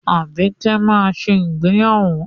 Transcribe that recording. Àbíkẹ́ máa ṣe ìgbéyàwó.